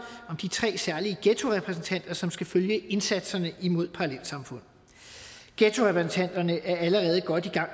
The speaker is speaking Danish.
om de tre særlige ghettorepræsentanter som skal følge indsatserne imod parallelsamfund ghettorepræsentanterne er allerede godt i gang